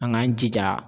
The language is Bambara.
An k'an jija